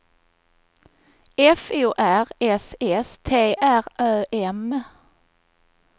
F O R S S T R Ö M